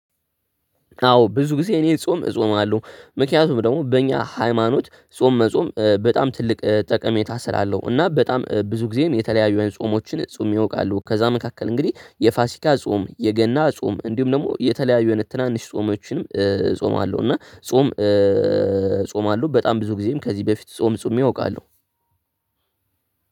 አዎ ብዙ ጊዜ እኔ ጾም እጾማለሁ ምክንያቱም ደግሞ በእኛ ሃይማኖት ጾም መጾም በጣም ትልቅ ጠቀሜታ ስላለው እና በጣም ብዙ ጊዜም የተለያዩ የጾሞችን ጾም አውቃለሁ ከዛ መካከል እንግዲህ የፋሲካ ጾም የገና ጾም እንዲሁም ደግሞ የተለያዩ የትናንሽ ጾሞችንም ጾማለሁ እና ጾም አለው በጣም ብዙ ጊዜም ከዚህ በፊት ጾም ጾም አውቃለሁ።